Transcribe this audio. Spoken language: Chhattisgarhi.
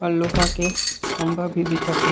और लोहा के खम्भा भी दिखत हे।